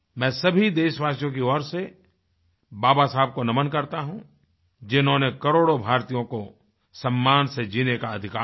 मैं सभी देशवासियों की ओर से बाबा साहब को नमन् करता हूँ जिन्होंने करोड़ों भारतीयों को सम्मान से जीने का अधिकार दिया